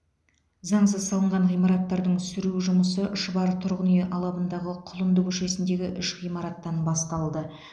заңсыз салынған ғимараттардың сүру жұмысы шұбар тұрғын үй алабындағы құлынды көшесіндегі үш ғимараттан басталды